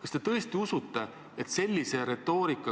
Kas te tõesti usute, et sellise retoorika,